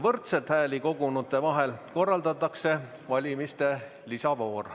Võrdselt hääli kogunute vahel korraldatakse valimiste lisavoor.